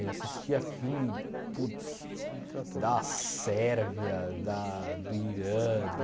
Eu assistia filme puts da Sérvia, da... do Irã, do